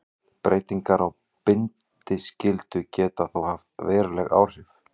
Breytingar á bindiskyldu geta þó haft veruleg áhrif.